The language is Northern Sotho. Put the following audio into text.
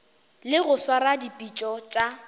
le go swara dipitšo tša